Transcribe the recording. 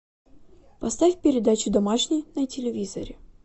поставь передачу домашний на телевизоре